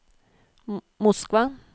Moskva